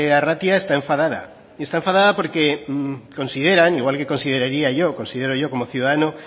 arratia está enfadada y está enfadada porque consideran igual que consideraría yo considero yo como ciudadano